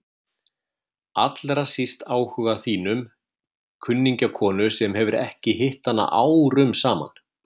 Allra síst áhuga þínum, kunningjakonu sem hefur ekki hitt hana árum saman.